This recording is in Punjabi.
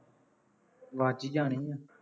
ਵੱਜ ਹੀ ਜਾਣੇ ਆ